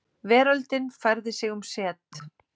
Veröldin færði sig um set.